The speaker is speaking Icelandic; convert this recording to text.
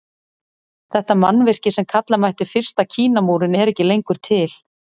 Þetta mannvirki sem kalla mætti fyrsta Kínamúrinn er ekki lengur til.